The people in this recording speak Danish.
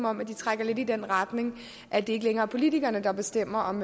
om de trækker lidt i den retning at det ikke længere er politikerne der bestemmer om